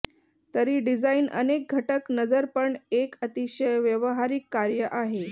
तरी डिझाइन अनेक घटक नजर पण एक अतिशय व्यावहारिक कार्य आहे